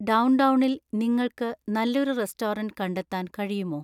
ഡൗണ്ടൗണിൽ നിങ്ങൾക്ക് നല്ലൊരു റെസ്റ്റോറന്റ് കണ്ടെത്താൻ കഴിയുമോ